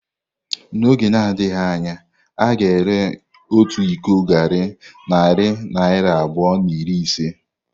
N’oge na-adịghị anya, a ga-ere otu iko garri narị naira abụọ na iri ise.